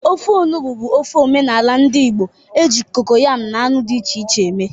Ofe enugbe bụ ofe omenala ndị Igbo e ji kokoyam na anụ dị iche iche eme.